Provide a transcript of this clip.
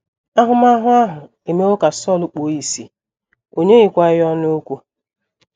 Ahụmahụ ahụ emewo ka Sọl kpuo ìsì, o nyeghịkwa ya ọnụ okwu.